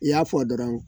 I y'a fɔ dɔrɔn